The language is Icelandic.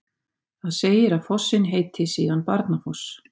Þar segir að fossinn heiti síðan Barnafoss.